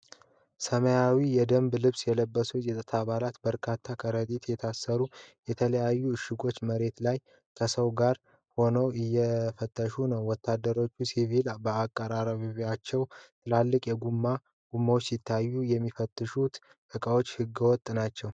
ሰማያዊ የደንብ ልብስ የለበሱ የጸጥታ አባላት በርካታ በከረጢት የታሰሩ የተለያዩ እሽጎችን መሬት ላይ ከሰዎች ጋር ሆነው እየፈተሹ ነው። ወታደሮቹና ሲቪሎች በአቅራቢያቸው ትላልቅ የጎማ ጎማዎች ሲታዩ፣ የሚፈተሹት እቃዎች ህገወጥ ናቸው?